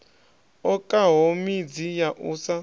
okaho midzi ya u sa